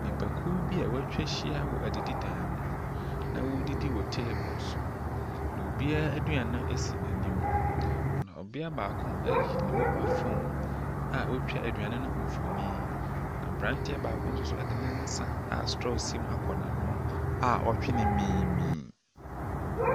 Nnipa kuo bi a watwa ahyia wɔ adididan mu na wɔɔdidi wɔ teebol so. Na obiaa aduane no esi n'anim, na ɔbea baako ayi ne mobae fon a ɔtwa aduane no mfonin. Na aberanteɛ baako nsoso ɛde ne nsa a strɔɔ si mu akɔ n'ano a ɔtwee no miimii.